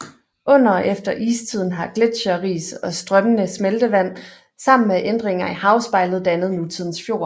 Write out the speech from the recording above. Under og efter istiden har gletcheris og strømmende smeltevand sammen med ændringer i havspejlet dannet nutidens fjord